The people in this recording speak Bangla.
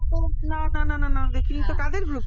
না না না না দেখিনি ত কাদের মধ্যে